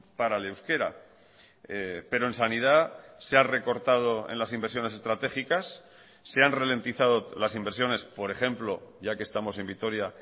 para el euskera pero en sanidad se ha recortado en las inversiones estratégicas se han ralentizado las inversiones por ejemplo ya que estamos en vitoria